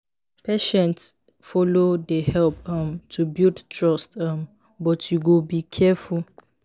patient follow dey help um to build trust um but you go be careful.